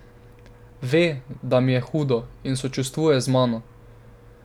Ve, da mi je hudo, in sočustvuje z mano.